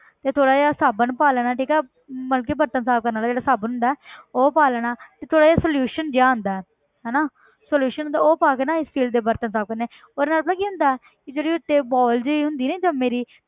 ਤੇ ਥੋੜ੍ਹਾ ਜਿਹਾ ਸਾਬਣ ਪਾ ਲੈਣਾ ਠੀਕ ਹੈ ਮਤਲਬ ਕਿ ਬਰਤਨ ਸਾਫ਼ ਕਰਨ ਵਾਲਾ ਜਿਹੜਾਂ ਸਾਬਣ ਹੁੰਦਾ ਹੈ ਉਹ ਪਾ ਲੈਣਾ ਤੇ ਥੋੜ੍ਹਾ ਜਿਹਾ solution ਜਿਹਾ ਆਉਂਦਾ ਹੈ ਹਨਾ solution ਹੁੰਦਾ ਉਹ ਪਾ ਕੇ ਨਾ steel ਦੇ ਬਰਤਨ ਸਾਫ਼ ਕਰਨੇ ਉਹਦੇ ਨਾਲ ਪਤਾ ਕੀ ਹੁੰਦਾ ਹੈ ਕਿ ਜਿਹੜੀ ਉੱਤੇ ਵਾਲ ਜਿਹੀ ਹੁੰਦੀ ਨੀ ਜੰਮੀ ਜਿਹੀ